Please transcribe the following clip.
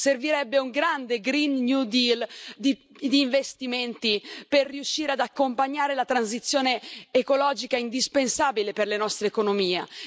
Servirebbe un grande Green New Deal di investimenti per riuscire ad accompagnare la transizione ecologica indispensabile per la nostra economia.